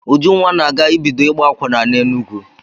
Ujunwa na-aga ibido ịgba akwụna n'Enugwu.